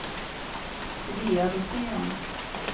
Svea Rosén